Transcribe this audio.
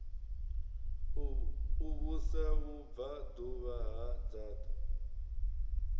u vhusa vhubvaḓuvha ha dzaṱa